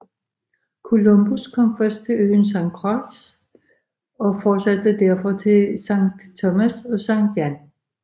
Columbus kom først til øen Sankt Croix og fortsatte derfra til både Sankt Thomas og Sankt Jan